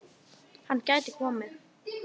Hann gæti komið